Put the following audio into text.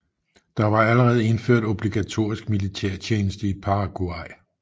Der var allerede indført obligatorisk militærtjeneste i Paraguay